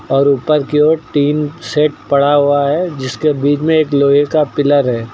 और ऊपर की ओर टिन सेट पड़ा हुआ है जिसके बीच में एक लोहे का पिलर है।